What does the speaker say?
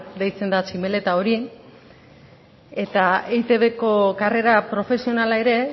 deitzen da tximeleta hori eta eitbko karrera profesionala ere